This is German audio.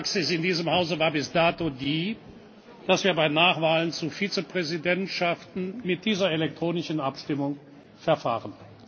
Die gängige Praxis in diesem Hause war bis dato die, dass wir bei Nachwahlen zu Vizepräsidentschaften mit dieser elektronischen Abstimmung verfahren.